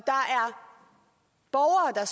er